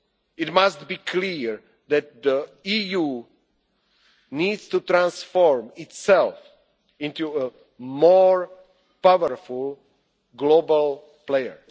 the world today, it must be clear that the EU needs to transform itself into a more powerful